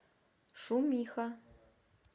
шумиха